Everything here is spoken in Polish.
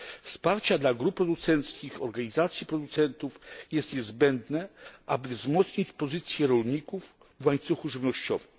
Wsparcie dla grup producenckich, organizacji producentów jest niezbędne, aby wzmocnić pozycję rolników w łańcuchu żywnościowym.